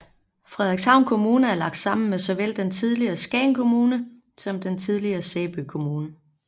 Frederikshavn Kommune er lagt sammen med såvel den tidligere Skagen Kommune som den tidligere Sæby Kommune